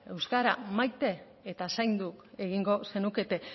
euskara maite eta zaindu egingo zenukete